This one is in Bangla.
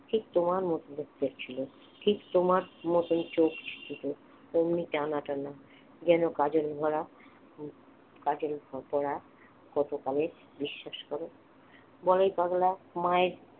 ঠিক তোমার মতন দেখতে ছিল ঠিক তোমার মতনই চোখ ছিল অমনি টানা টানা যেন কাজল ভরা কাজল পড়া কতকালের বিশ্বাস কর বলাই পাগলা মায়ের